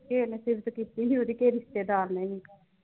ਕਿਹੇ ਨੇ ਸਿਫਤ ਕੀਤੀ ਹੀ ਉਹਦੀ ਕਿਹੇ ਰਿਸ਼ਤੇਦਾਰ ਨੇ ਵੀ